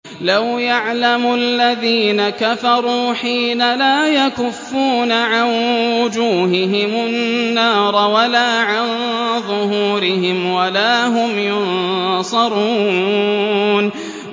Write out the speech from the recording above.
لَوْ يَعْلَمُ الَّذِينَ كَفَرُوا حِينَ لَا يَكُفُّونَ عَن وُجُوهِهِمُ النَّارَ وَلَا عَن ظُهُورِهِمْ وَلَا هُمْ يُنصَرُونَ